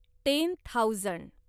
ten thousand